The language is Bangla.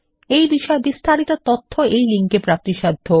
এই বিষয় বিস্তারিত তথ্য এই লিঙ্ক এ প্রাপ্তিসাধ্য